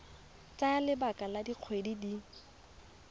tsaya lebaka la dikgwedi di